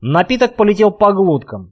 напиток полетел по глоткам